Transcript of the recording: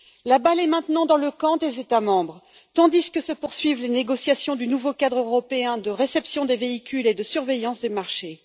La balle est maintenant dans le camp des États membres, tandis que se poursuivent les négociations du nouveau cadre européen de réception des véhicules et de surveillance des marchés.